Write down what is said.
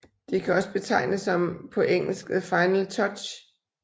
Det kan også betegnes som på engelsk The Final Touch